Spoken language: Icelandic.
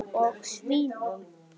Og svínum.